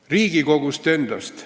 Riigikogust endast.